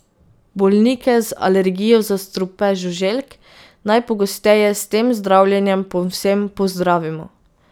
Bolnike z alergijo za strupe žuželk najpogosteje s tem zdravljenjem povsem pozdravimo.